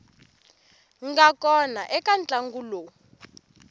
nga kona eka ntlangu lowu